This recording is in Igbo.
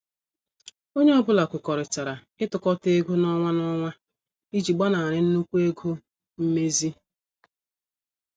Onye ọ bụla kwekọrịtara itukota ego n' ọnwa n' ọnwa iji gbanari nnukwu ego mmezi.